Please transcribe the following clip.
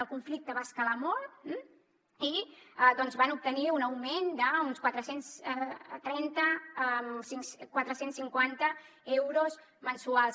el conflicte va escalar molt i van obtenir un augment d’uns quatre cents i trenta quatre cents i cinquanta euros mensuals